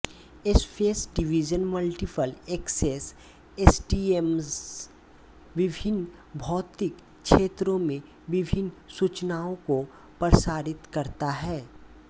space division multiple access SDMA विभिन्न भौतिक क्षेत्रों में विभिन्न सूचनाओं को प्रसारित करता है